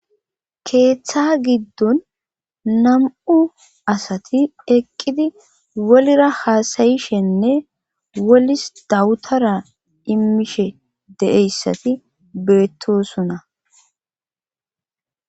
keeththa giddun nam7u asati eqqidi wolira haasayishenne wolis dawutara immishe de7eyssati beettosuna